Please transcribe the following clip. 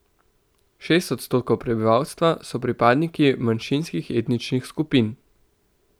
Šest odstotkov prebivalstva so pripadniki manjšinskih etničnih skupin.